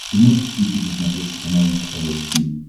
ты можешь включить на смотрешке канал эн эйч кей волд ти ви